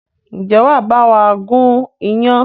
Ǹjẹ́ wàá bawa gun iyán?